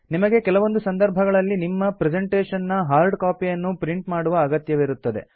ನಿಮಗೆ ಕೆಲವೊಂದು ಸಂದರ್ಭಗಳಲ್ಲಿ ನಿಮ್ಮ ಪ್ರೆಸೆಂಟೇಶನ್ ನ ಹಾರ್ಡ್ ಕಾಪಿಯನ್ನು ಪ್ರಿಂಟ್ ಮಾಡುವ ಅಗತ್ಯವಿರುತ್ತದೆ